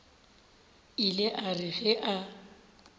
ile a re ge a